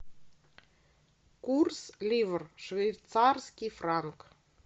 курс ливр швейцарский франк